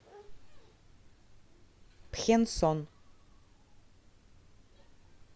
пхенсон